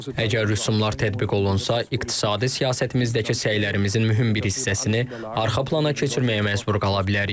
Əgər rüsumlar tətbiq olunsa, iqtisadi siyasətimizdəki səylərimizin mühüm bir hissəsini arxa plana keçirməyə məcbur qala bilərik.